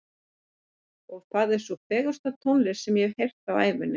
Og það er sú fegursta tónlist sem ég hef heyrt á ævinni.